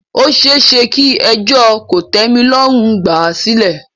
Ó ṣeéṣe kí ẹjọ́ kòtẹ́milọ́rùn gbà à sílẹ̀.